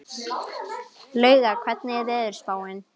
Lauga, hvernig er veðurspáin?